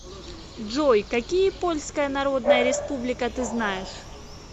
джой какие польская народная республика ты знаешь